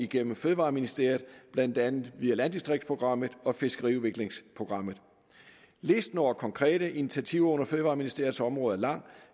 gennem fødevareministeriet blandt andet via landdistriktsprogrammet og fiskeriudviklingsprogrammet listen over konkrete initiativer under fødevareministeriets område er lang